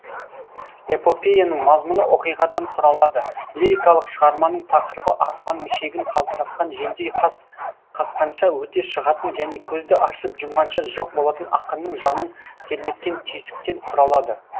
эпопеяның мазмұны оқиғадан құралады лирикалық шығарманың тақырыбы арфаның шегін қалтыратқан желдей қас қаққанша өте шығатын және көзді ашып жұмғанша жоқ болатын ақынның жанын тербеткен түйсіктен құралады